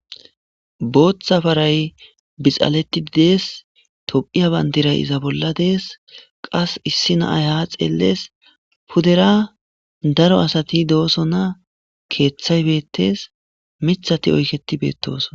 Booththa faray bixaleththi dees; tophphiya banddiray iza bolla dees; qas issi na7ay haa xeellees; pudera daro asathi doosona; keeththay beeththes; miththathi oykeththi beettoosona.